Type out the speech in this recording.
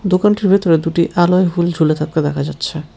দোকানটির ভিতরে দুটি আলোয় হুল ঝুলে থাকতে দেখা যাচ্ছে।